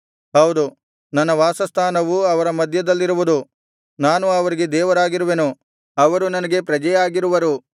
ಹೌದು ನನ್ನ ವಾಸಸ್ಥಾನವು ಅವರ ಮಧ್ಯದಲ್ಲಿರುವುದು ನಾನು ಅವರಿಗೆ ದೇವರಾಗಿರುವೆನು ಅವರು ನನಗೆ ಪ್ರಜೆಯಾಗಿರುವರು